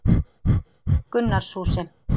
Gunnarshúsi